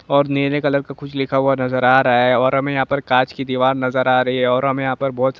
और नीले कलर का कुछ लिखा हुआ नजर आ रहा है और हमें यहां पर कांच की दीवार नजर आ रही है और हमें यहां पर बहुत सारे--